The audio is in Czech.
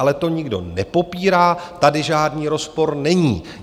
Ale to nikdo nepopírá, tady žádný rozpor není.